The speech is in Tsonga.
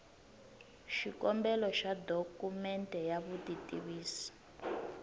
xikombelo xa dokumende ya vutitivisi